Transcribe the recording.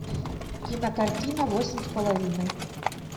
кинокартина восемь с половиной